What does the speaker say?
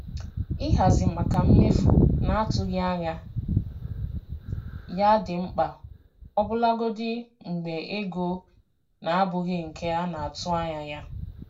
Ịhazi maka mmefu na-atụghị anya ya dị mkpa ọbụlagodi mgbe ego na-abụghị nke a na-atụ anya ya.